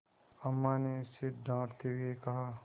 अम्मा ने उसे डाँटते हुए कहा